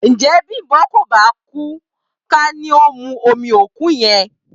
Ǹjẹ́ Bímpé kò bá kú ká ní ó mu omi òkú yẹn?